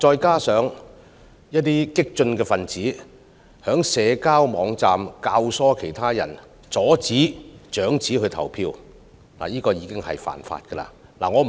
此外，有激進分子在社交網站教唆他人阻止長者投票，這其實已屬違法行為。